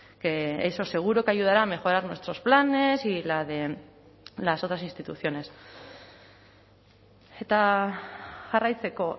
que eso seguro que ayudará a mejorar nuestros planes y la de las otras instituciones eta jarraitzeko